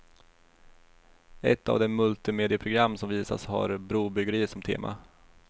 Ett av de multimedieprogram som visas har brobyggeri som tema.